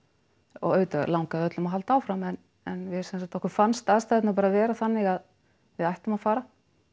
og auðvitað langaði öllum að halda áfram en en við sem sagt okkur fannst aðstæðurnar vera þannig að við ættum að fara